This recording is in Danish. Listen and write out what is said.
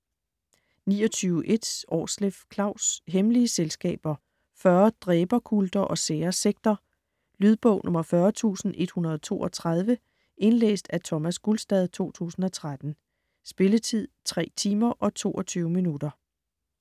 29.1 Aarsleff, Klaus: Hemmelige selskaber: 40 dræberkulter og sære sekter Lydbog 40132 Indlæst af Thomas Gulstad, 2013. Spilletid: 3 timer, 22 minutter.